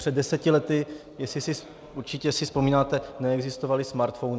Před deseti lety, určitě si vzpomínáte, neexistovaly smartphony.